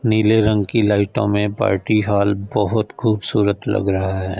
नीले रंग की लाइटों में पार्टी हॉल बहुत खूबसूरत लग रहा है।